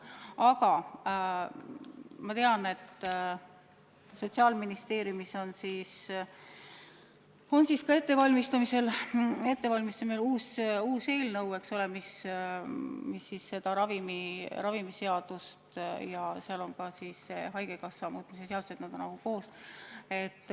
Aga ma tean, et Sotsiaalministeeriumis on ettevalmistamisel uus eelnõu, mis peale ravimiseaduse puudutab ka haigekassa seaduse muutmist – need on nagu koos.